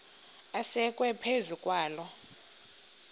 asekwe phezu kwaloo